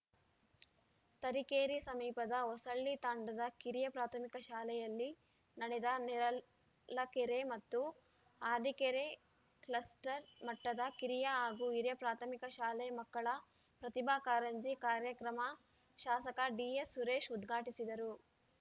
ತರೀಕೆರೆ ಸಮೀಪದ ಹೊಸಳ್ಳಿ ತಾಂಡದ ಕಿರಿಯ ಪ್ರಾಥಮಿಕ ಶಾಲೆಯಲ್ಲಿ ನಡೆದ ನೇರಲಕೆರೆ ಮತ್ತು ಹಾದಿಕೆರೆ ಕ್ಲಸ್ಟರ್‌ ಮಟ್ಟದ ಕಿರಿಯ ಹಾಗೂ ಹಿರಿಯ ಪ್ರಾಥಮಿಕ ಶಾಲೆ ಮಕ್ಕಳ ಪ್ರತಿಭಾ ಕಾರಂಜಿ ಕಾರ್ಯಕ್ರಮ ಶಾಸಕ ಡಿಎಸ್‌ಸುರೇಶ್‌ ಉದ್ಘಾಟಿಸಿದರು